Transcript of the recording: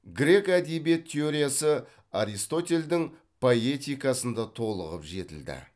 грек әдебиет теориясы аристотельдің поэтикасында толығып жетілді